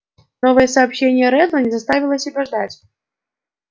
новое сообщение реддла не заставило себя ждать